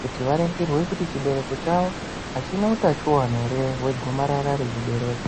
kuti varingirwe kuti chibereko chavo hachina utachivana ere vegomarara rechibereko.